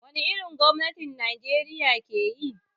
Wani irin gwamnati Najeriya ke yi?